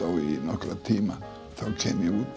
í nokkra tíma þá kem ég út